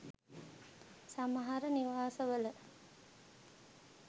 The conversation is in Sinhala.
සමහර නිවාස වල